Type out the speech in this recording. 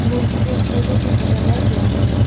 मूर्ति को फूलों से सजाया गया है।